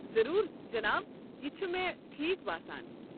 ضروٗر، جناب۔ یہِ چھُ مےٚ ٹھیٖکھ باسان۔